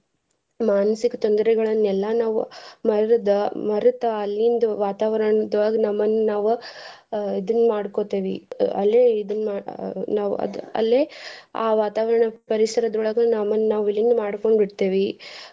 ಮಾನಸಿಕ ತೊಂದರೆಗಳನ್ನ ಎಲ್ಲಾ ನಾವ್ ಮರದ ಮರತ ಅಲ್ಲಿಂದ ವಾತಾವರ್ಣದೋಳ್ಗ ನಮ್ಮನ್ ನಾವ ಅಹ್ ಇದನ್ ಮಾಡ್ಕೋತಿವಿ ಅಲ್ಲೆ ಇದನ್ ಆ ನಾವ್ ಅದ್ ಅಲ್ಲೆ ಆ ವಾತವರ್ಣದ್ ಪರಿಸರದೋಳ್ಗ ನಮ್ಮನ್ ನಾವ್ ವಿಲೀನ ಮಾಡ್ಕೊಂಡ್ ಬಿಡ್ತೇವಿ.